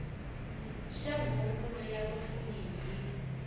xa huvonkulu ya vapfuni hi